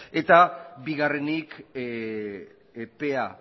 eta bigarrenik epea